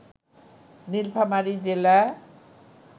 নীলফামারী জেলা